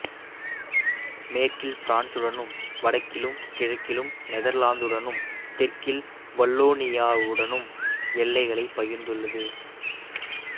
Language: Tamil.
மேற்கில் பிரான்சுடனும் வடக்கிலும் கிழக்கிலும் நெதர்லாந்துடனும் தெற்கில் வல்லோனியாவுடனும் எல்லைகளைப் பகிர்ந்துள்ளது